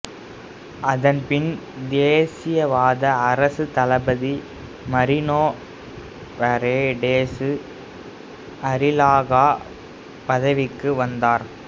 அதன் பின் தேசியவாத அரசு தளபதி மரினோ பரேடேசு அரில்லாகா பதவிக்கு வந்தார்